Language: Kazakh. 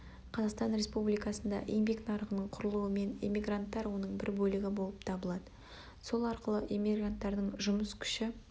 қазақстан республикасында еңбек нарығының құрылуымен эммигранттар оның бір бөлігі болып табылады сол арқылы эммигранттардың жұмыс күші